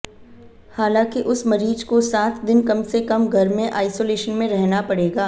हालांकि उस मरीज को सात दिन कम से कम घर में आईसोलेशन में रहना पड़ेगा